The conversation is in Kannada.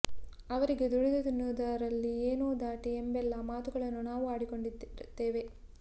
ಅವರಿಗೆ ದುಡಿದು ತಿನ್ನುವದರಲ್ಲಿ ಏನು ದಾಡಿ ಎಂಬೆಲ್ಲ ಮಾತುಗಳನ್ನ ನಾವೂ ಆಡಿಕೊಂಡಿರುತ್ತೇವೆ